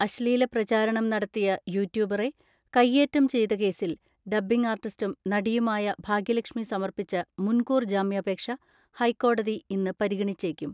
അശ്ലീല പ്രചാരണം നടത്തിയ യൂട്യൂബറെ കൈയേറ്റം ചെയ്ത കേസിൽ ഡബ്ബിംഗ് ആർട്ടിസ്റ്റും നടിയുമായ ഭാഗ്യലക്ഷ്മി സമർപ്പിച്ച മുൻകൂർ ജാമ്യാപേക്ഷ ഹൈക്കോടതി ഇന്ന് പരിഗണിച്ചേക്കും.